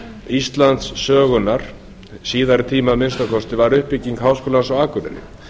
íslandssögunnar síðari tíma að minnsta kosti var uppbygging háskólans á akureyri